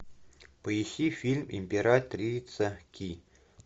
поищи фильм императрица ки